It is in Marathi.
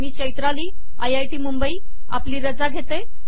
मी चैत्राली आपली रजा घेते